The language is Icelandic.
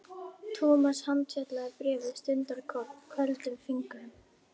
Thomas handfjatlaði bréfið stundarkorn, köldum fingrum.